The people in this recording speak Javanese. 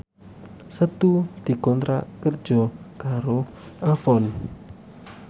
Setu dikontrak kerja karo Avon